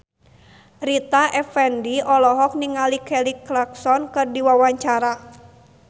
Rita Effendy olohok ningali Kelly Clarkson keur diwawancara